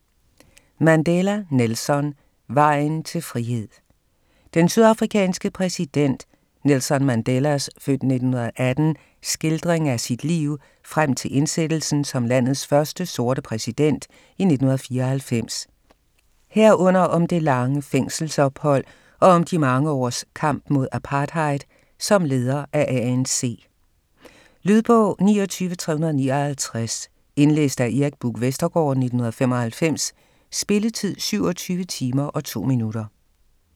Mandela, Nelson: Vejen til frihed Den sydafrikanske præsident Nelson Mandelas (f. 1918) skildring af sit liv frem til indsættelsen som landets første sorte præsident i 1994, herunder om det lange fængselsophold, og om de mange års kamp mod apartheid som leder af ANC. Lydbog 29359 Indlæst af Erik Buch Vestergaard, 1995. Spilletid: 27 timer, 2 minutter.